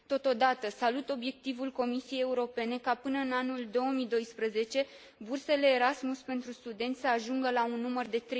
Totodată, salut obiectivul Comisiei Europene ca până în anul 2012 bursele Erasmus pentru studenți să ajungă la un număr de